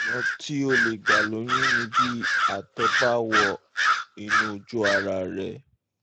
ọ̀nà tí o lè gbà lóyún ni bí àtọ̀ bá wọ inú ojú ara rẹ